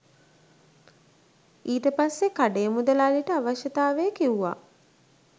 ඊට පස්සෙ කඩේ මුදලාලිට අවශ්‍යතාවය කිව්ව